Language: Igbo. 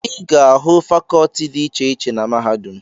Ị ga-ahụ fakọọti dị iche iche na mahadum.